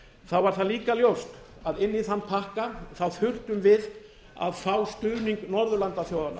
þá var það líka ljóst að inn í þann pakka þurftum við að fá stuðning norðurlandaþjóðanna